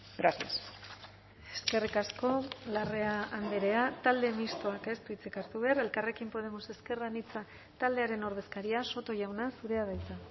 gracias eskerrik asko larrea andrea talde mistoak ez du hitzik hartu behar elkarrekin podemos ezker anitza taldearen ordezkaria soto jauna zurea da hitza